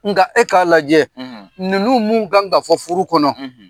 Nka e k'a lajɛ ninnu minnu kan ka fɔ furu kɔnɔ